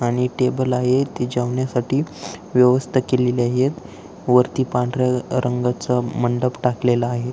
आणि टेबल आहे जेवण्यासाठी व्यवस्था केलेली आहे वरती पांढऱ्या रंगाचं मंडप टाकलेलं आहे.